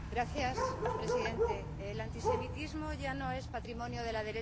Señor presidente, el antisemitismo ya no es patrimonio de la derecha.